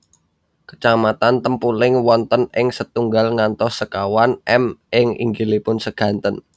Kecamatan Tempuling wonten ing setunggal ngantos sekawan m ing inggilipun seganten